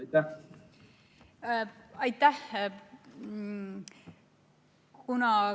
Aitäh!